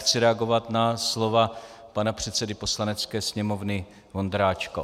Chci reagovat na slova pana předsedy Poslanecké sněmovny Vondráčka.